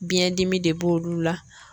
Biɲɛn dimi de b'olu la.